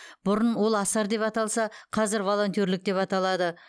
бұрын ол асар деп аталса қазір волонтерлік деп аталады